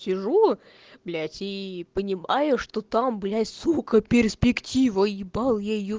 сижу блять и понимаю что там блять сука перспектива ебал я её